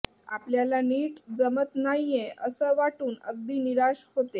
आपल्याला नीट जमत नाहीये असं वाटून अगदी निराश होते